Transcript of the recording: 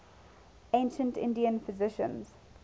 ancient indian physicians